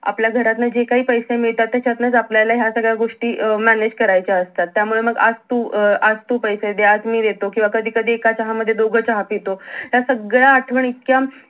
आपल्या घरातन जे काही पैसे मिळतात त्याचतनच आपल्याला ह्या सगळ्या गोष्टी अं manage करायच्या असतात त्यामुळे मग आज तू अं आज तू पैसे दे आज मी देतो किंवा कधी - कधी एका चहा मध्ये दोघ चहा पितो ह्या सगळ्या आठजवणी इतक्या